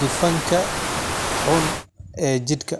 dufanka xun ee jirka.